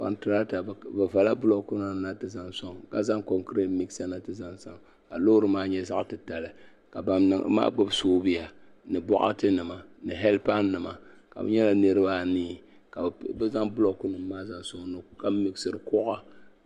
Kontirata bi vala bulooku na ti zaŋ sɔŋ ka zaŋ konkiret miɣisa na ti zaŋ zali ka loori maa nyɛ zaɣa titali ka ban niŋda maa gbubi soobuya ni bɔɣati nima ni helipan nima ka bi nyɛla niriba anii ka bi zaŋ bulooku nima maa zaŋ sɔŋ ka miɣisiri kɔɣa.